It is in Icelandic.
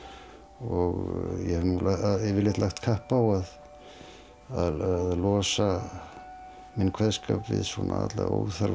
og ég hef yfirleitt lagt kapp á að losa minn kveðskap við svona alla óþarfa